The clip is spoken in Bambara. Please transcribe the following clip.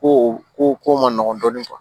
Ko o ko ko man nɔgɔn dɔɔnin